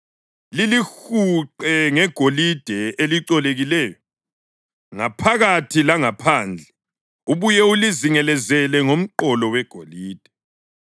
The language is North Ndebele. Lilihuqe ngegolide elicolekileyo, ngaphakathi langaphandle, ubuye ulizingelezele ngomqolo wegolide.